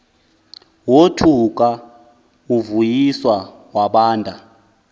wothuka uvuyiswa wabanda